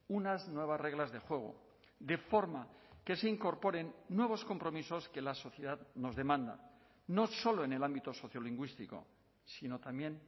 unas nuevas reglas de juego de forma que se incorporen nuevos compromisos que la sociedad nos demanda no solo en el ámbito sociolingüístico sino también